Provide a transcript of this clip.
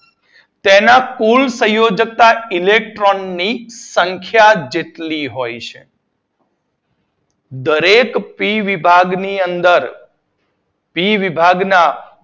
તેના કુલ સંયોજકતા ઇલેક્ટ્રોન ની સંખ્યા જેટલી હોય છે. દરેક પી વિભાગની અંદર સી વિભાગના